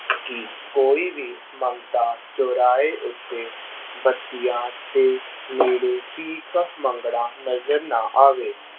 ਕਿ ਕੋਈ ਵੀ ਮੰਗਤਾ ਚੁਰਾਹੇ ਉੱਤੇ ਬੱਤੀਆਂ ਦੇ ਨੇੜੇ ਭੀਖ ਮੰਗਦਾ ਨਜ਼ਰ ਨਾ ਆਵੇ।